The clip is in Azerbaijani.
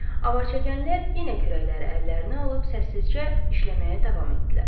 Avarçəkənlər yenə kürəkləri əllərinə alıb səssizcə işləməyə davam etdilər.